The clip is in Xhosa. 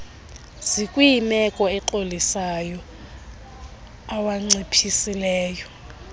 zikwimeko exolisayo awanciphisile